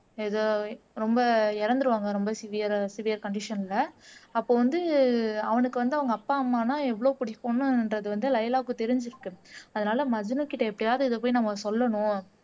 எதோ ரொம்ப இறந்துருவாங்க ரொம்ப சிவியர் சிவியர் கண்டிஷன்ல அப்போ வந்து அவனுக்கு வந்து அவங்க அப்பா அம்மானா எவ்ளோ புடிக்குன்றது வந்து லைலாக்கு தெரிஞ்சிருக்கு அதனால மஜ்னுக்கிட்ட எப்படியாவது இதை போய் நம்ம சொல்லணும்